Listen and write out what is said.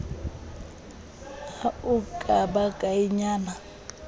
ha e ka ba kaenyana